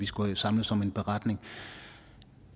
skulle samles om en beretning